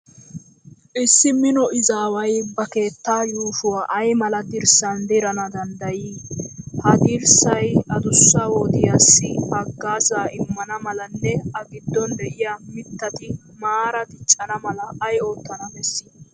Issi mino izaaway ba keettaa yuushuwa ay mala dirssan dirana danaddayii? Ha daresay adussa wodiyassi haggaazaa immana malanne A giddon de'iya mittati maara diccana mala ay oottana bessii?